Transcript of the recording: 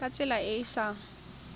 ka tsela e e sa